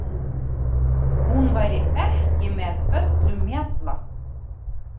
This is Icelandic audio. Hún væri ekki með öllum mjalla.